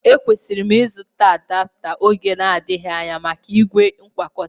E kwesịrị m ịzụta adapta oge na-adịghị anya maka ígwè ngwakọtaa